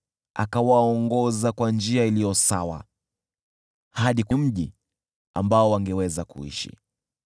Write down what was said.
Akawaongoza kwa njia iliyo sawa hadi mji ambao wangeweza kuishi.